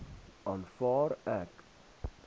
aanvaar ek